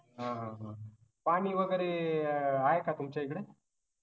आह पानी वागरे अं आहे का तुमच्या इकडे